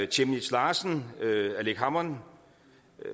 chemnitz larsen aleqa hammond